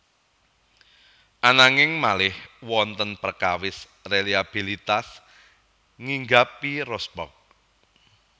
Ananging malih wonten prekawis reliabilitas nghinggapi Rosberg